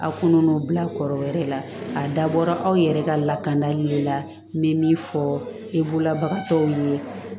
A kɔnɔ bila kɔrɔ wɛrɛ la a dabɔra aw yɛrɛ ka lakanda ye de la n bɛ min fɔ e bololabagatɔw ye